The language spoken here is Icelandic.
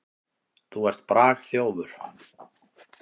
Þú ert bragþjófur.